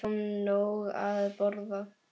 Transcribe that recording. Við fáum nóg að borða.